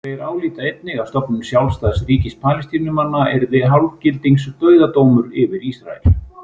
Þeir álíta einnig að stofnun sjálfstæðs ríkis Palestínumanna yrði hálfgildings dauðadómur yfir Ísrael.